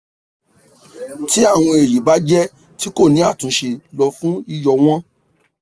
ti awọn eyin ba jẹ ti ko ni atunṣe lọ fun yiyọ wọn